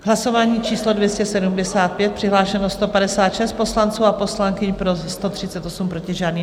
Hlasování číslo 275, přihlášeno 156 poslanců a poslankyň, pro 138, proti žádný.